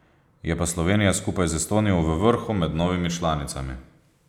Je pa Slovenija skupaj z Estonijo v vrhu med novimi članicami.